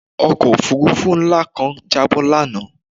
Ọkọ̀ òfurufú ńlá kan jábọ́ lánàá